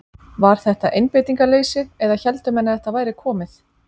Var þetta einbeitingarleysi eða héldu menn að þetta væri komið?